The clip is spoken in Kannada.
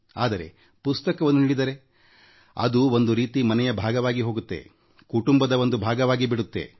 ಆದರೆ ಪುಸ್ತಕವನ್ನು ನೀಡಿದರೆ ಅದು ಒಂದು ರೀತಿ ಮನೆಯ ಭಾಗವಾಗಿ ಹೋಗುತ್ತೆಕುಟುಂಬದ ಒಂದ ಭಾಗವಾಗಿ ಬಿಡುತ್ತದೆ